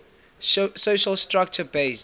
social structure based